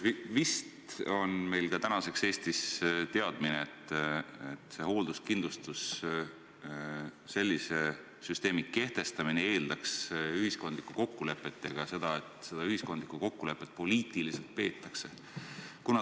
Vist on meil tänaseks Eestis teadmine, et hoolduskindlustuse süsteemi kehtestamine eeldaks ühiskondlikku kokkulepet ja ka seda, et seda ühiskondlikku kokkulepet poliitiliselt peetakse.